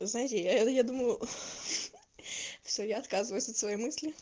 знаете я думаю аа всё я отказываюсь от своей мысли